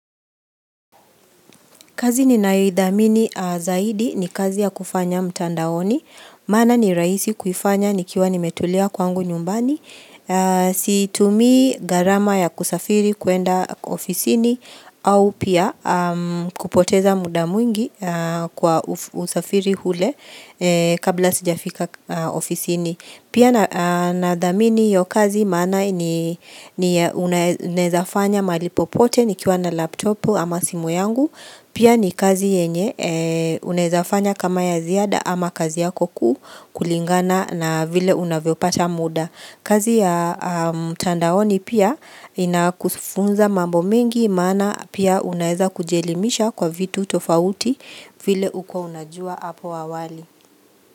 Kazi ni nayoidhamini zaidi ni kazi ya kufanya mtandaoni, maana ni rahisi kuifanya nikiwa nimetulia kwangu nyumbani, situmii gharama ya kusafiri kwenda ofisini au pia kupoteza muda mwingi kwa usafiri ule kabla sijafika ofisini. Pia na dhamini hiyo kazi maana ni unawezafanya malipo pote ni kiwa na laptopu ama simu yangu. Pia ni kazi yenye unawezafanya kama ya ziada ama kazi yako kulingana na vile unavyopata muda. Kazi ya mtandaoni pia inakufunza mambo mengi maana pia unaweza kujielimisha kwa vitu tofauti vile hukua unajua hapo awali.